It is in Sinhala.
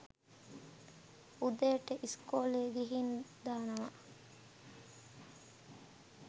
උදේට ඉස්කෝලෙ ගිහින් දානවා.